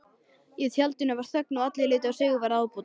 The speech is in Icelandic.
Í tjaldinu varð þögn og allir litu á Sigvarð ábóta.